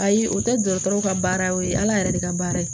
Ayi o tɛ dɔgɔtɔrɔ ka baara ye o ye ala yɛrɛ yɛrɛ de ka baara ye